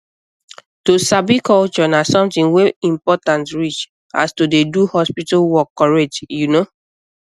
to sabi culture na something wey important reach as to dey do hospital work correct you know